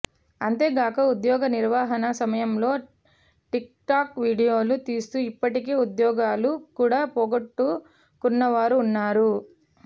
అంతేగాక ఉద్యోగ నిర్వహణ సమయంలో టిక్టాక్ వీడియోలు తీస్తూ ఇప్పటికే ఉద్యోగాలు కూడా పోగొట్టు కున్నవారు ఉన్నారు